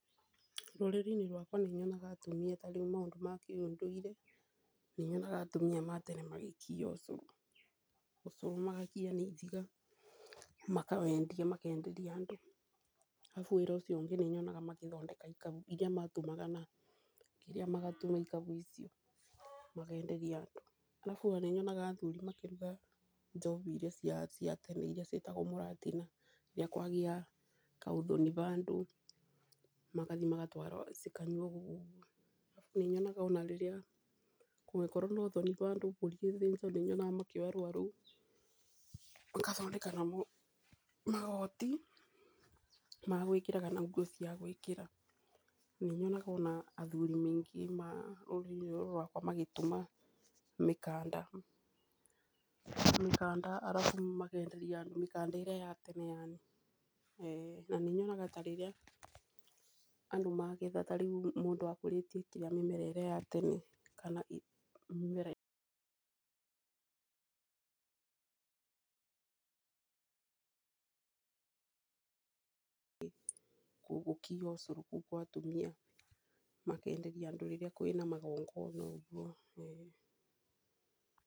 Rũrĩrĩ-inĩ rwakwa nĩnyonaga atumia ta rĩu maũndũ ma kĩũndũire nĩ nyonaga atumia a tene magĩkia ũcũrũ. Magakia na ithiga, makenderia andũ. Arabu wĩra ũcio ũngĩ nĩnyonaga magĩthondeka ikabu iria matumaga makenderia andũ. Arabu wĩra ũcio ũngĩ nĩnyonaga athuri makĩruga njohi ĩrĩa ya tene yetagwo mũratina. Kwagĩa ka ũthoni handũ, magathiĩ magatwara. Ona rĩrĩa kũngĩkorwo na ũthoni handũ, mbũri ĩthĩnjwo nĩnyonaga makĩoya rũũa rũu, magathondeka naruo magoti, Magwĩkĩa na nguo ciagwĩkĩra .Nĩnyonaga ona athuri aingĩ magakorwo magĩtuma mĩkanda arabu makenderia andũ ĩrĩa ya tene yani. Na nĩ nyonaga ta rĩrĩa andũ magetha ta rĩu andũ arĩa makũrĩtie mĩmera ĩrĩa ya tene.